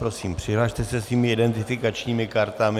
Prosím, přihlaste se svými identifikačními kartami.